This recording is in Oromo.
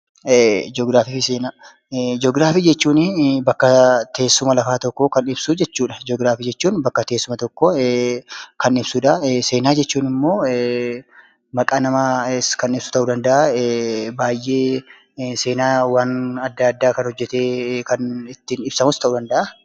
Ji'ograafii jechuun akkaataa teessuma lafaa tokko kan ibsu jechuudha. Seenaa jechuun immoo maqaa namaa seenaa adda addaa kan hojjete ibsu yookiin seenaa hojjetames kan ibsu ta'uu danda'a.